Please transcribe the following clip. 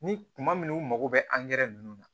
Ni kuma min u mago bɛ angɛrɛ ninnu na